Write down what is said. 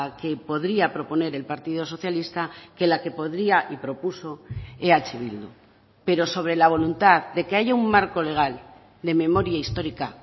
que podría proponer el partido socialista que la que podría y propuso eh bildu pero sobre la voluntad de que haya un marco legal de memoria histórica